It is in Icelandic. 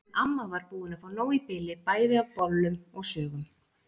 En amma var búin að fá nóg í bili bæði af bollum og sögum.